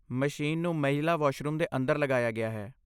Machine ਨੂੰ ਮਹਿਲਾ washroom ਦੇ ਅੰਦਰ ਲਗਾਇਆ ਗਿਆ ਹੈ।